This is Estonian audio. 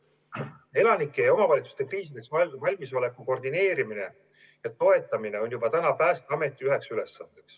Elanike ja omavalitsuste kriisideks valmisoleku koordineerimine ja toetamine on juba praegu üks Päästeameti ülesanne.